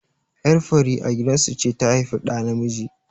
Ƴar fari a gidan su ce ta haifi ɗa namiji.